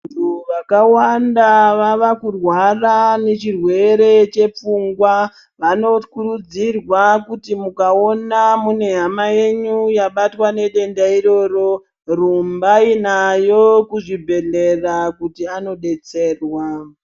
Vantu vakawanda vava kurwara nechirwere chepfungwa. Vanokurudzirwa kuti mukaona mune hama yenyu yabatwa nedenda iroro, rumbai nayo kuzvibhedhlera kuti anodetserwa.